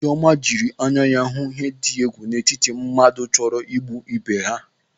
Chiọma jiri anya hụ ihe iyi egwu n'etiti mmadụ chọrọ igbu ebe ha.